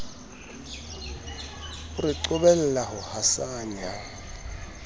o re qobella ho hasanya